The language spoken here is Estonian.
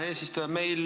Hea eesistuja!